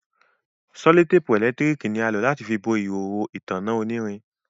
sellotape elekitiriki ni a lo láti bó ihoho ìtanná onirin.